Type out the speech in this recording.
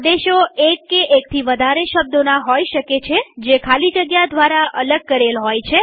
આદેશો એક કે એકથી વધારે શબ્દોના હોય શકે જે ખાલી જગ્યા દ્વારા અલગ કરેલ હોય છે